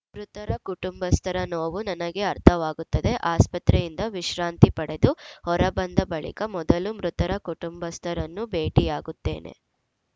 ಮೃತರ ಕುಟುಂಬಸ್ಥರ ನೋವು ನನಗೆ ಅರ್ಥವಾಗುತ್ತದೆ ಆಸ್ಪತ್ರೆಯಿಂದ ವಿಶ್ರಾಂತಿ ಪಡೆದು ಹೊರಬಂದ ಬಳಿಕ ಮೊದಲು ಮೃತರ ಕುಟುಂಬಸ್ಥರನ್ನು ಭೇಟಿಯಾಗುತ್ತೇನೆ